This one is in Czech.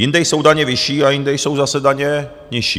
Jinde jsou daně vyšší a jinde jsou zase daně nižší.